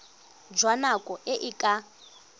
jwa nako e e ka